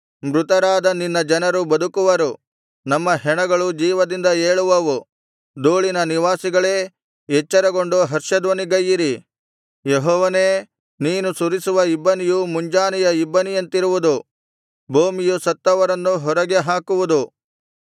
ಮೃತರಾದ ನಿನ್ನ ಜನರು ಬದುಕುವರು ನಮ್ಮ ಹೆಣಗಳು ಜೀವದಿಂದ ಏಳುವವು ಧೂಳಿನ ನಿವಾಸಿಗಳೇ ಎಚ್ಚರಗೊಂಡು ಹರ್ಷಧ್ವನಿಗೈಯಿರಿ ಯೆಹೋವನೇ ನೀನು ಸುರಿಸುವ ಇಬ್ಬನಿಯು ಮುಂಜಾನೆಯ ಇಬ್ಬನಿಯಂತಿರುವುದು ಭೂಮಿಯು ಸತ್ತವರನ್ನು ಹೊರಗೆ ಹಾಕುವುದು